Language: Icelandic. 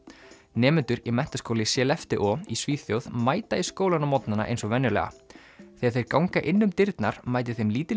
nemendur í menntaskóla í Skellefteå í Svíþjóð mæta í skólann á morgnana eins og venjulega þegar þeir ganga inn um dyrnar mætir þeim lítil